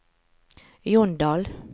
Jondal